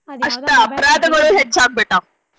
ಅಷ್ಟ್ ಅಪರಾಧಗಳು ಹೆಚ್ಚ ಆಗ್ಬಿಟ್ಟಾವ್.